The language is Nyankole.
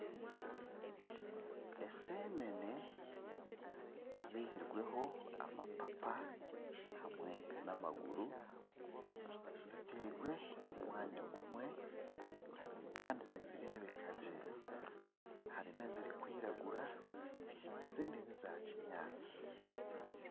Esenene ezihirweho amapapa hamwe n'amaguru zitairwe omu mwanya gumwe kandi nizireebeka gye harimu ezirikwiragura ezindi niza kinyaatsi